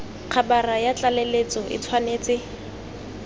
khabara ya tlaleletso e tshwanetse